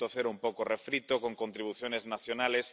3.0 un poco refrito con contribuciones nacionales.